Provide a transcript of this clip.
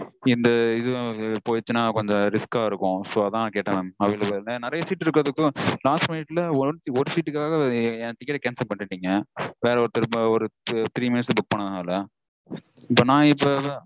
இந்த இதுவும் போயிருச்சுனா கொஞ்சம் risk -ஆ இருக்கும் So அதா கேட்டேன் available -ஆனு. நெறைய seat இருக்கறதுக்கும் last minute -ல ஒரு சீட்டுக்காக என் ticket cancel பண்ணிட்டீங்க. வேற ஒருத்தர்க்கு ஒரு three minutes -ல book பண்ணதனால. இப்போ நா இப்போ